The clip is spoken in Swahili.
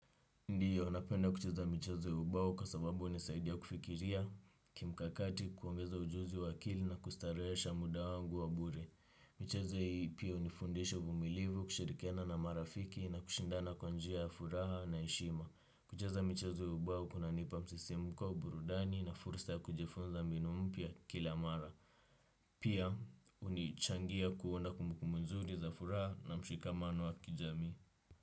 Ndiyo, napenda kucheza michezo ya ubao kwa sababu unisaidia kufikiria, kimkakati kuongeza ujuzi wa akili na kustareesha muda wangu wa bure. Michezo hiii pia unifundisha uvumilivu, kushirikana na marafiki na kushindana kwa njia ya furaha na eshima. Kucheza michezo ya ubao kunanipa msisimuko au burudani na fursa ya kujifunza mbinu mpya kila mara. Pia, unichangia kuunda kumbukumbu nzuri za furaha na mshikamano wa kijamii.